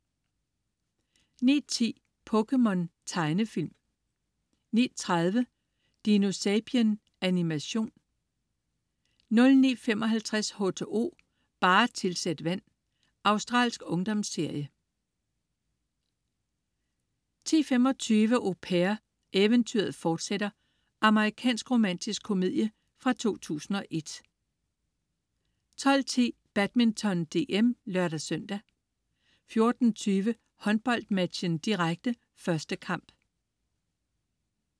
09.10 POKéMON. Tegnefilm 09.30 DinoSapien. Animation 09.55 H2O, bare tilsæt vand. Australsk ungdomsserie 10.25 Au Pair, eventyret fortsætter. Amerikansk romantisk komedie fra 2001 12.10 Badminton: DM (lør-søn) 14.20 HåndboldMatchen, direkte. 1. kamp